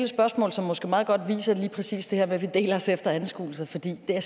spørgsmål som måske meget godt viser lige præcis det her med at vi deler os efter anskuelser fordi der